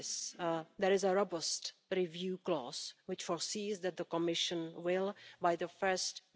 Dit alles heeft desastreuze gevolgen voor het milieu, het klimaat en de economie. Onze ecosystemen lijden onder de vervuiling.